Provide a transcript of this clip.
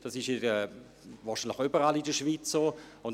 Ich denke, dies ist überall in der Schweiz so.